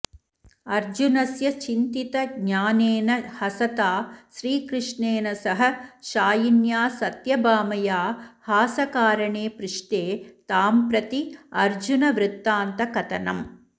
अर्जुनस्य चिन्तितज्ञानेन हसता श्रीकृष्णेन सह शायिन्या सत्यभामया हासकारणे पृष्टे तां प्रति अर्जुनवृत्तान्तकथनम्